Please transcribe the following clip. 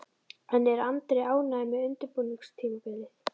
En er Andri ánægður með undirbúningstímabilið?